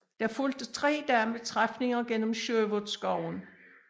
Der fulgte tre dage med træfninger gennem Sherwoodskoven